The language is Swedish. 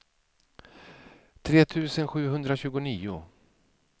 tre tusen sjuhundratjugonio